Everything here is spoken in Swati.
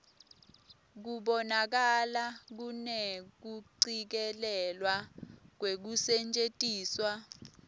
kubonakala kunekucikelelwa kwekusetjentiswa